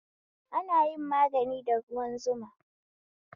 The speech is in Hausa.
Ana yin magani da ruwan zuma